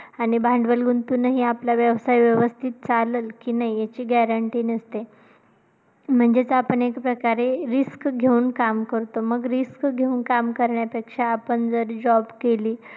आणि भांडवल गुंतूनही आपला व्यवसाय व्यवस्थित चालेल की नाही याची guarantee नसते म्हणजेचं आपण एक प्रकारे risk घेऊन काम करतो, मग risk घेऊन काम करण्यापेक्षा आपण जर job केली.